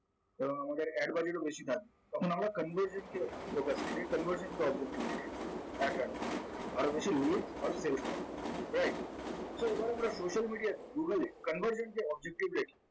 কারণ আমাদের ad বাড়লে কিন্তু বেশি কাটবে তখন আমরা conversant কে ঢোকাই এই conversant কে objectivate এ ad রাখবো আরো বেশি lead আর fail করানো right so এবার আমরা social media google এ conversant কে official এর